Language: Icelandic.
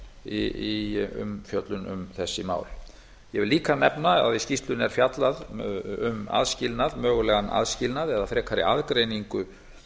í umfjöllun um þessi mál ég vil líka nefna að í skýrslunni er fjallað um aðskilnað mögulegan aðskilnað eða frekari aðgreiningu